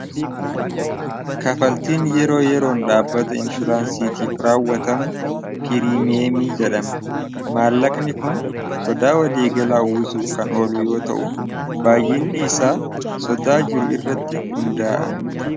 Kafaltiin yeroo yeroon dhaabbata inshuraansiitiif raawwatamu pirimeemii jedhama maallaqni kun sodaa waliigalaa uwwisuuf kan oluu yoo ta'u baay'inni isaa sodaa jiru irratti hundaa'a.